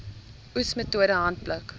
oes metode handpluk